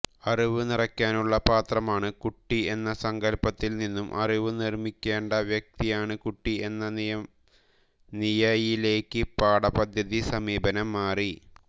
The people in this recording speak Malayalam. അറിവുനിറയ്ക്കാനുള്ള പാത്രമാണ് കുട്ടി എന്ന സങ്കൽപ്പത്തിൽ നിന്നും അറിവു നിർമ്മിക്കേണ്ട വ്യക്തിയാണ് കുട്ടി എന്ന നിയയിലേക്ക് പാഠപദ്ധതി സമീപനം മാറി